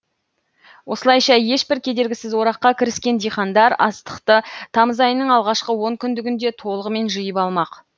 осылайша ешбір кедергісіз ораққа кіріскен диқандар астықты тамыз айының алғашқы онкүндігінде толығымен жиып алмақ